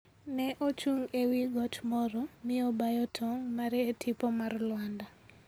Ne ochung' e wi got moro, mi obayo tong' mare e tipo mar Lwanda.